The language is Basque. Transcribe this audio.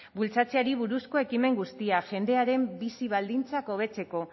bultzatzeari buruzko ekimen guztiak jendearen bizi baldintzak hobetzeko